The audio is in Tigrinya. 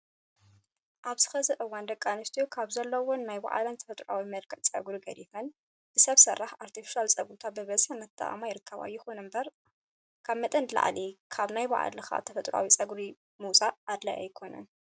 ኣብዚ ሕዚ እዋን ደቂ ኣንስትዮ ካብ ዘለዎም ናይ ባዕልተን ተፈጥራዊ መልክዕ ፀጉሪ ገዲፈን ብሰብ ስራሕ (ኣርተፊሻል) ፀጉርታት ብብዝሒ እናተጠቀማ ይርከባ። ይኹን እምበር ካብ መጠን ንላዕሊ ካብ ናይ ባዕልኻ ተፈጥራዊ ፀጉሪ ምውፃእ ኣድላይ ኣይኾነን።